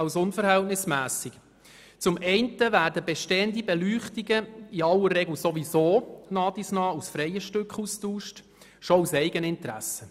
Zum einen werden bestehende Beleuchtungen in aller Regel ohnehin aus freien Stücken allmählich ausgetauscht, dies schon aus Eigeninteresse.